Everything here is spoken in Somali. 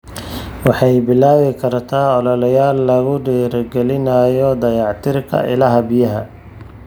Waxay bilaabi kartaa ololeyaal lagu dhiirigelinayo dayactirka ilaha biyaha.